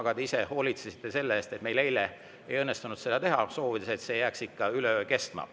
Aga te ise hoolitsesite selle eest, et meil eile ei õnnestunud seda teha, soovides, et see jääks ikka üle öö kestma.